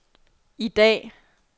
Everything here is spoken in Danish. i dag